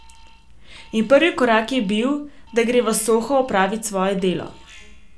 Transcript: In prvi korak je bil, da gre v Soho opravit svoje delo.